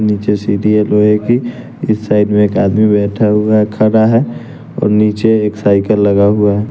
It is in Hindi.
नीचे सीढ़ी है लोहे की इस साइड में एक आदमी बैठा हुआ है खड़ा है और नीचे एक साइकिल लगा हुआ है।